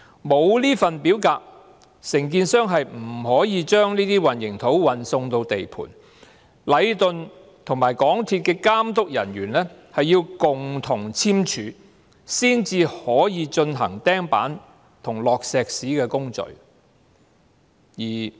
沒有這份表格，承建商不能把混凝土運送到地盤，而禮頓和港鐵公司的監督人員要共同簽署這份表格，才可以進行釘板和灌注混凝土的工序。